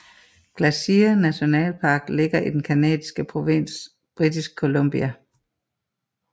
Glacier National Park ligger i den canadiske provins Britisk Columbia